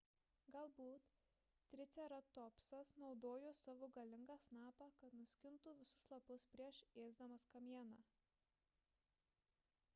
galbūt triceratopsas naudojo savo galingą snapą kad nuskintų visus lapus prieš ėsdamas kamieną